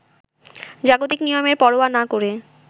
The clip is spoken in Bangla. জাগতিক নিয়মের পরোয়া না করে